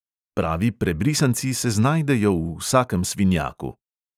Pravi prebrisanci se znajdejo v vsakem svinjaku!